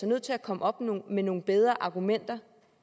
nødt til at komme op med nogle bedre argumenter